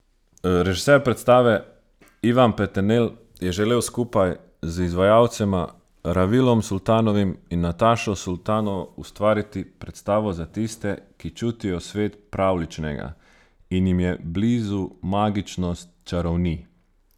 Režiser predstave Ivan Peternelj je želel skupaj z izvajalcema, Ravilom Sultanovim in Natašo Sultanovo, ustvariti predstavo za tiste, ki čutijo svet pravljičnega in jim je blizu magičnost čarovnij.